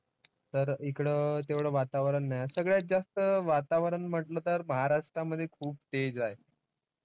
तर हिकडं तेवढं वातावरण नाही. सगळ्यात जास्त वातावरण म्हंटलं तर महाराष्ट्रामध्ये खूप तेज आहे.